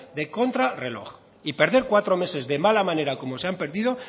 de contrarreloj y perder cuatro meses de mala manera como se han perdido